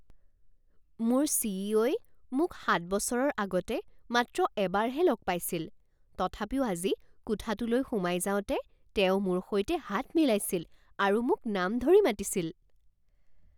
মোৰ C E O ই মোক সাত বছৰৰ আগতে মাত্ৰ এবাৰহে লগ পাইছিল তথাপিও আজি কোঠাটোলৈ সোমাই যাওঁতে তেওঁ মোৰ সৈতে হাত মিলাইছিল আৰু মোক নাম ধৰি মাতিছিল।